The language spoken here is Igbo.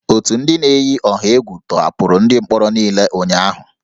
Otu ndị na-eyi ọha egwu tọhapụrụ ndị mkpọrọ niile ụnyahụ